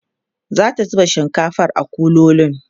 zata zuba shinkafar a kuloli